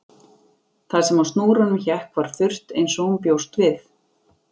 Það sem á snúrunum hékk var þurrt eins og hún bjóst við